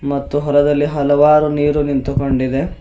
ಮತ್ತು ಹೊಲದಲ್ಲಿ ಹಲವಾರು ನೀರು ನಿಂತುಕೊಂಡಿದೆ.